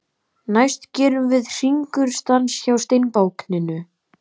Næst gerum við Hringur stans hjá steinbákninu.